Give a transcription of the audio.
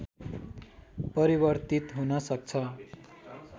परिवर्तित हुन सक्छ